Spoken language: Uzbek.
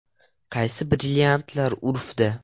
Qaysi brilliantlar urfda?